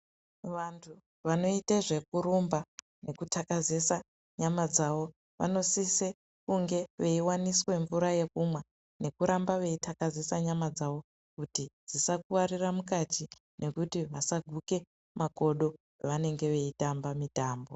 Vantu vanoita zvekurumba nekutakazisa nyama dzawo vanosisa kunge veiwaniswa mvura yekumwa nekuramba veitakaziswa nyama dzawo kuti dzisakuwarira mukati nekuti vasaguka makodo pavanenge vachitamba mitambo.